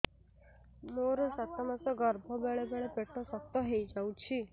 ମୋର ସାତ ମାସ ଗର୍ଭ ବେଳେ ବେଳେ ପେଟ ଶକ୍ତ ହେଇଯାଉଛି